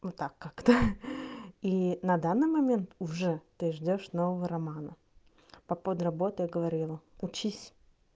вот так как-то и на данный момент уже ты ждёшь нового романа по поводу работы я говорила учись